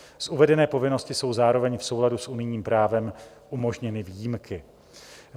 Z uvedené povinnosti jsou zároveň v souladu s unijním právem umožněny výjimky.